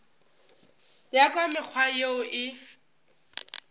ya ka mekgwa yeo e